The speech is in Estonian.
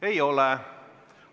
Ei ole.